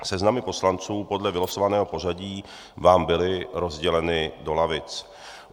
Seznamy poslanců podle vylosovaného pořadí vám byly rozděleny do lavic.